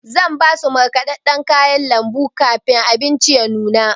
Zan basu markaɗaɗɗan kayan lambu kafin abinci ya nuna.